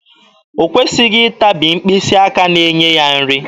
O kwesịghị ịtabi mkpịsị aka na-enye ya nri.